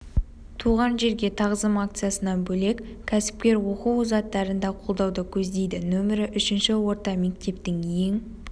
туған жерге тағзым акциясынан бөлек кәсіпкер оқу озаттарын да қолдауды көздейді нөмірі үшінші орта мектептің ең